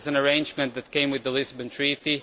This is an arrangement which came with the Lisbon Treaty